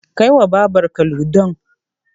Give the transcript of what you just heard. Kai wa Babarka Ludon.